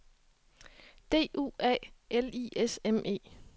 D U A L I S M E